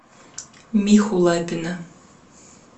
миху лапина